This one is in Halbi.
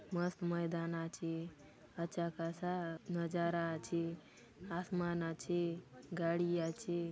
मस्त मैदान आछी अच्छा खासा नजारा आछी आसमान आछी गाड़ी आछी।